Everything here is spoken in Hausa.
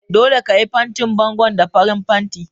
Dole ka yi fantin bangon da farin fanti!